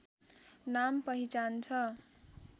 नाम पहिचान छ